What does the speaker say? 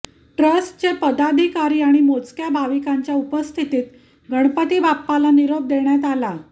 ट्रस्टचे पदाधिकारी आणि मोजक्या भाविकांच्या उपस्थितीत गणपती बाप्पाला निरोप देण्यात आला